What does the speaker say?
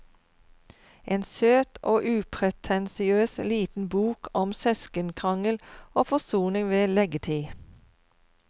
En søt og upretensiøs liten bok om søskenkrangel og forsoning ved leggetid.